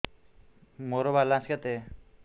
ମୋର ବାଲାନ୍ସ କେତେ